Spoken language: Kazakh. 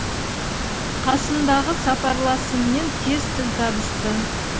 қасымдағы сапарласыммен тез тіл табысты